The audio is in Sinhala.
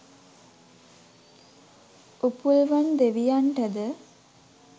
උපුල්වන් දෙවියන්ටද